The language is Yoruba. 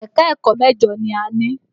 Ẹ̀ka-ẹ̀kọ́ mẹ́jọ ni a ní.